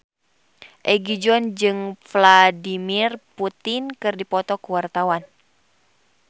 Egi John jeung Vladimir Putin keur dipoto ku wartawan